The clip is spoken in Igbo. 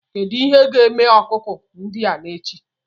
Kedu ihe ga-eme ọkụkọ ndị a n'echi?